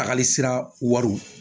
Tagali sira wariw